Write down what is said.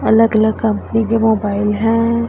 अलग अलग कंपनी के मोबाइल है।